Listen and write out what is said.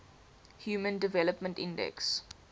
human development index